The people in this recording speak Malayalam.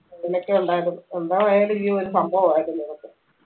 അങ്ങനൊക്കെ ഉണ്ടായിരുന്നു എന്താ ആയാല് ഈ ഒരു സംഭവായിരുന്നു അതൊക്കെ